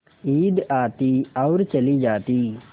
ईद आती और चली जाती